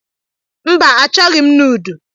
Mba, achọghị m nudu.